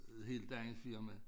Et helt andet firma